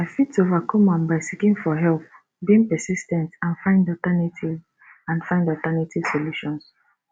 i fit overcome am by seeking for help being persis ten t and find alternative and find alternative solutions